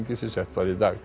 sem sett var í dag